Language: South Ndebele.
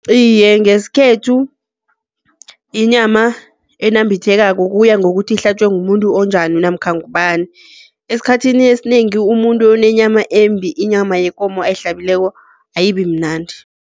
Iye, ngesikhethu inyama enambithekangako kuya ngokuthi ihlatjwe ngumuntu onjani namkha ngubani? Esikhathini esinengi umuntu onenyama embi inyama yekomo ayihlabileko ayibimnandi.